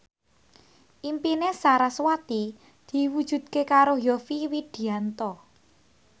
impine sarasvati diwujudke karo Yovie Widianto